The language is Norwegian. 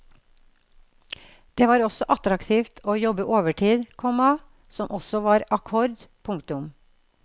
Det var også attraktivt å jobbe overtid, komma som også var akkord. punktum